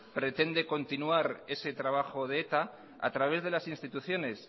pretende continuar ese trabajo de eta a través de las instituciones